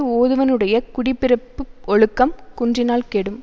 ஓதுவனுடைய குடி பிறப்பு ஒழுக்கம் குன்றினால் கெடும்